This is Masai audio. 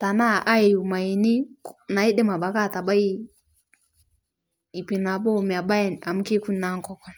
tanaa ayiu mayeeni naidim abaki atabai ipnaboo mebaya amu keikuni naa nkokon.